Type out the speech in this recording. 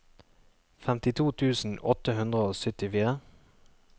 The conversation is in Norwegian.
femtito tusen åtte hundre og syttifire